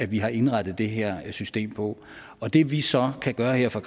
vi har indrettet det her system på og det vi så kan gøre her fra